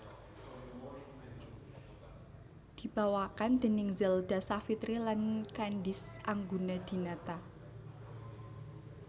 Dibawakan déning Zelda Savitri lan Candice Anggunadinata